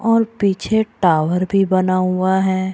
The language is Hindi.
और पीछे टावर भी बना हुआ है |